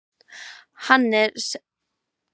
Hann er sem sé í stökustu vandræðum!